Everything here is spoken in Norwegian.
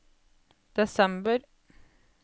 desember